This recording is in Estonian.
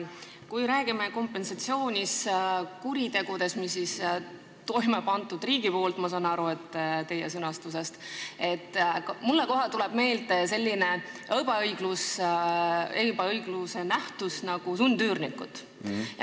Kui me räägime kompensatsioonist kuritegude eest, mille on toime pannud riik – nii saan ma aru teie sõnastusest –, siis mulle kohe tuleb meelde selline ebaõigluse ilming nagu sundüürnikud.